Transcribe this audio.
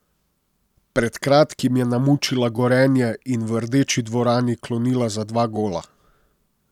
Pred kratkim je namučila Gorenje in v Rdeči dvorani klonila za dva gola.